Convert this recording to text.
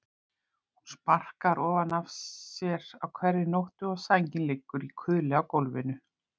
Hún sparkar ofan af sér á hverri nóttu og sængin liggur í kuðli á gólfinu.